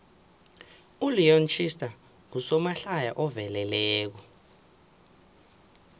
uleon schuster ngusomahlaya oveleleko